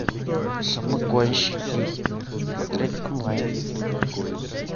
самогонщики смотреть онлайн